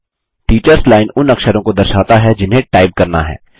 teachers line उन अक्षरों को दर्शाता है जिन्हें टाइप करना है